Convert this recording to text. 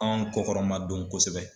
An kɔkɔrɔmadon kosɛbɛ.